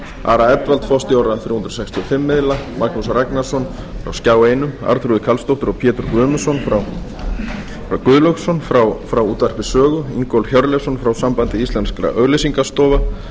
ara edwald forstjóra þrjú hundruð sextíu og fimm miðla magnús ragnarsson frá skjá einum arnþrúði karlsdóttur og pétur guðlaugsson frá útvarpi sögu ingólf hjörleifsson frá sambandi íslenskra auglýsingastofa